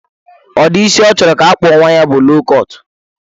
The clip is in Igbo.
Udi isi ọ chọrọ ka akpụọ nwa ya bụ low kọt.